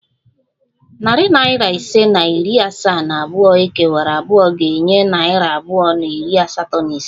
Narị naira ise na iri asaa na abụọ ekewara abụọ ga-enye narị abụọ na iri asatọ na isii